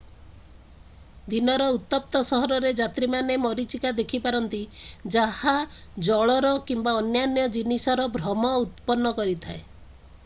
ଦିନର ଉତ୍ତପ୍ତ ସମୟରେ ଯାତ୍ରୀମାନେ ମରିଚିକା ଦେଖିପାରନ୍ତି ଯାହା ଜଳର କିମ୍ବା ଅନ୍ୟାନ୍ୟ ଜିନିଷର ଭ୍ରମ ଉତ୍ପନ୍ନ କରିଥାଏ।